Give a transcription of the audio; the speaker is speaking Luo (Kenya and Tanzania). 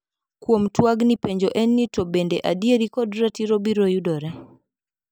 Kuom twagni penjo en ni to bende adieri kod ratiro biro yudore.